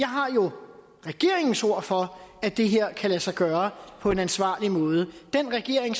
har jo regeringens ord for at det her kan lade sig gøre på en ansvarlig måde den regering